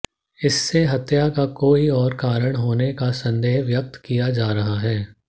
इससे हत्या का कोई और कारण होने का संदेह व्यक्त किया जा रहा है